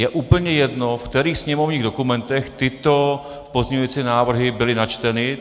Je úplně jedno, v kterých sněmovních dokumentech tyto pozměňovací návrhy byly načteny.